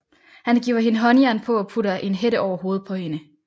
Han giver hende håndjern på og putter en hætte over hovedet på hende